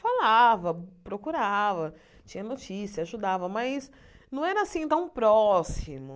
Falava, procurava, tinha notícia, ajudava, mas não era assim tão próximo.